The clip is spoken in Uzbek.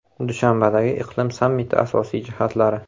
Dushanbadagi iqlim sammiti asosiy jihatlari.